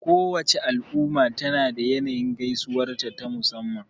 Kowace al'umma tana da yanayin gaisuwarta ta musamman.